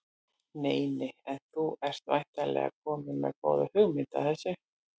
Nei nei En þú ert væntanlega kominn með góða hugmynd að þessu?